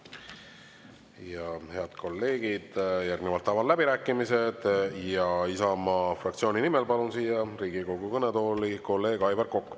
Ja head kolleegid, järgnevalt avan läbirääkimised ja Isamaa fraktsiooni nimel palun siia Riigikogu kõnetooli kolleeg Aivar Koka.